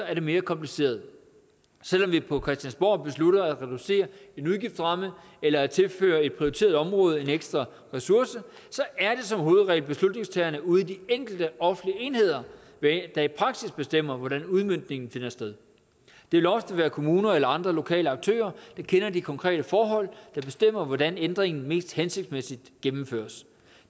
er det mere kompliceret selv om vi på christiansborg beslutter at reducere en udgiftsramme eller at tilføre et prioriteret område en ekstra ressource er det som hovedregel beslutningstagerne ude i de enkelte offentlige enheder der i praksis bestemmer hvordan udmøntningen finder sted det vil ofte være kommuner eller andre lokale aktører der kender de konkrete forhold der bestemmer hvordan ændringen mest hensigtsmæssigt gennemføres